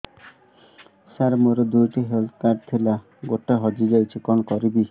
ସାର ମୋର ଦୁଇ ଟି ହେଲ୍ଥ କାର୍ଡ ଥିଲା ଗୋଟେ ହଜିଯାଇଛି କଣ କରିବି